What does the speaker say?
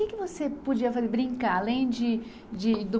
E o que que você podia fa, brincar, além de de do